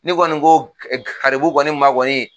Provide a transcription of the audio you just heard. Ni kɔni ko garibu kɔni ma kɔni